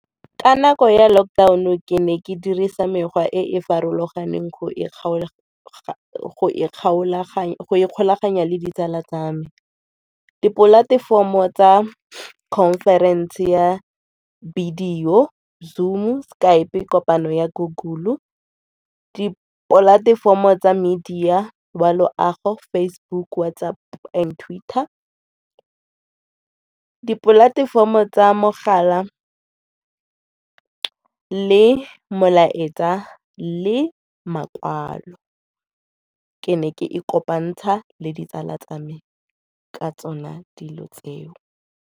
Ka nako ya lockdown-o ke ne ke dirisa mekgwa e e farologaneng go ikgolaganya le ditsala tsa me. Di-platform-o tsa conference ya bidio, Zoom-u, Skype, kopano ya Google-u. Di-platform-o tsa media wa loago Facebook, WhatsApp and Twitter. Dipolatefomo tsa mogala le molaetsa le makwalo ke ne ke ikopantsha le ditsala tsa me ka tsone dilo tseo.